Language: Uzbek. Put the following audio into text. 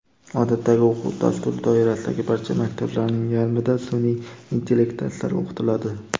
odatdagi o‘quv dasturi doirasidagi barcha maktablarning yarmida sunʼiy intellekt darslari o‘qitiladi.